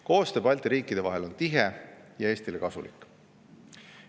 Koostöö Balti riikide vahel on tihe ja Eestile kasulik.